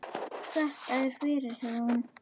Þakka þér fyrir, sagði hún.